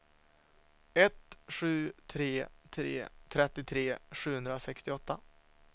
ett sju tre tre trettiotre sjuhundrasextioåtta